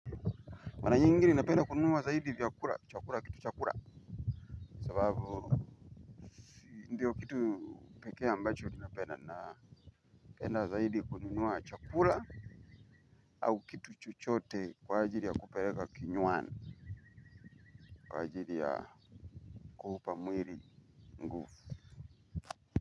Mara nyingi ninapenda kununua zaidi vyakura, chakura, kitu chakura, sababu indiyo kitu pekee ambacho ninapenda napenda zaidi kununua chakura au kitu chuchote kwa ajili ya kupereka kinywani, kwa ajili ya kuupa mwiri.